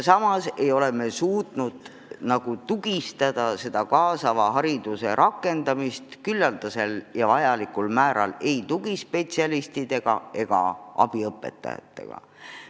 Samas ei ole me suutnud seda kaasava hariduse rakendamist vajalikul määral kindlustada tugispetsialistide ja abiõpetajatega.